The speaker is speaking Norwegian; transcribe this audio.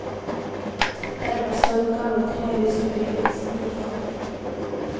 Dermed står den gamle trehusbebyggelsen for fall.